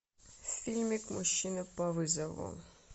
фильмик мужчина по вызову